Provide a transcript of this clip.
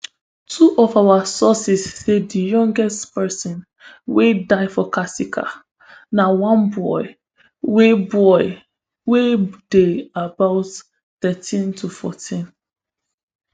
two of our sources say di youngest pesin wey die for kasika na one boy wey boy wey dey about thirteen tofourteen